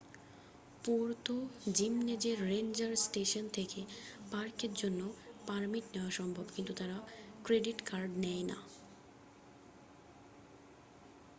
Puerto জিমনেজের ranger station থেকে পার্কের জন্য পারমিট নেওয়া সম্ভব কিন্তু তারা ক্রেডিট কার্ড নেয় না